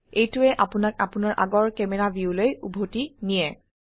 এইটোৱে আপোনাক আপোনাৰ আগৰ ক্যামেৰা ভিউলৈ উভতি নিয়ে